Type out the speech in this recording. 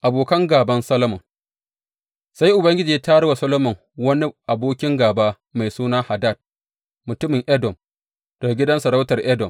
Abokan gāban Solomon Sai Ubangiji ya tayar wa Solomon wani abokin gāba, mai suna Hadad, mutumin Edom daga gidan sarautar Edom.